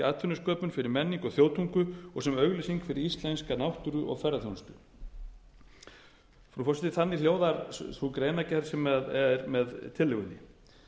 atvinnusköpun fyrir menningu og þjóðtungu og sem auglýsing fyrir íslenska náttúru og ferðaþjónustu frú forseti þannig hljóðar sú greinargerð sem er með tillögunni ég